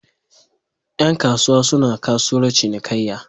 Yan kasuwa suna kasuwar cinikayya